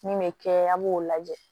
Min bɛ kɛ a b'o lajɛ